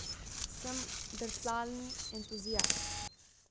Sem drsalni entuziast.